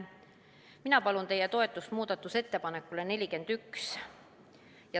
Mina palun teie toetust muudatusettepanekule nr 41.